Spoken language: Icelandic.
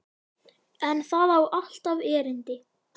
En það á alltaf erindi.